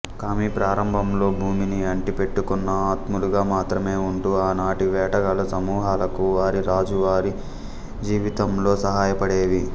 కామి ప్రారంభంలో భూమిని ఆంటి పెట్టుకున్న ఆత్మలుగా మాత్రమే ఉంటూ ఆనాటి వేటగాళ్ల సమూహాలకు వారి రోజువారీ జీవితంలో సహాయపడేవి